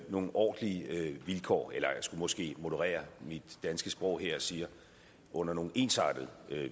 nogle ordentlige vilkår eller jeg skulle måske moderere mit danske sprog her og sige under nogle ensartede